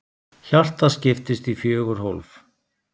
Hjartað skiptist í fjögur hólf.